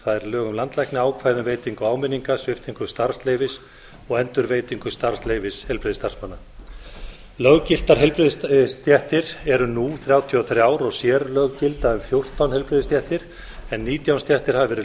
um landlækni ákvæði um veitingu áminninga sviptingu starfsleyfis og endurveitingu starfsleyfis heilbrigðisstarfsmanna löggiltar heilbrigðisstéttir eru nú þrjátíu og þrjú og sérlög gilda um fjórtán heilbrigðisstéttir en nítján stéttir hafa verið